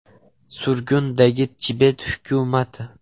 Surgundagi Tibet hukumati.